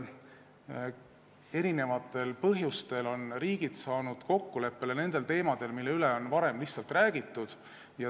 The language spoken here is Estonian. Eri põhjustel on riigid jõudnud kokkuleppele nendel teemadel, mille üle varem lihtsalt räägiti.